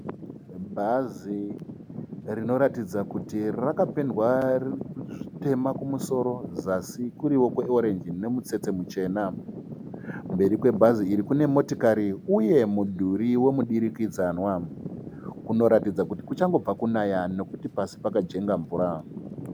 Bhazi rinoratidza kuti rakapendwa zvitema kumusoro zasi kuriwo kwe(orange) nemutsetse michena. Mberi kwebhazi iri kune motokari uye mudhuri wemudurikidzanwa. Kunoratidza kuti kuchangobva kunaya nekuti pasi pakajenga mvura.